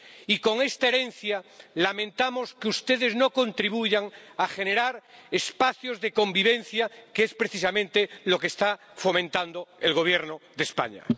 Y con esta herencia lamentamos que ustedes no contribuyan a generar espacios de convivencia, que es precisamente lo que está fomentando el Gobierno de España.